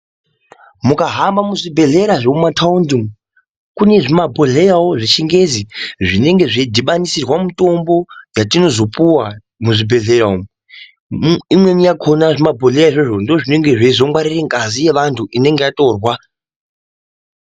Mukahamaba muzvibhedhlera zvemumataundi umu kune zvimabhodhleyao zvechingezi zvinenge zveidhibanisirwa mitombo yatinozopuwa muzvibhedhleya umu imweni yakona zvimabhodhleya izvozvo ndozvinenge zveizongwarira ngazi yevanthu inonga yatorwa.